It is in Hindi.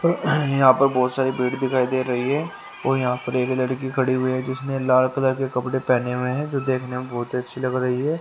यहा पर बहोत सारे पेड़ दिखाई रही है और यहां पर एक लड़की खड़ी हुई है जिसने लाल कलर के कपड़े पहने हुए हैं जो देखने मे बहोत ही अच्छी लग रही है।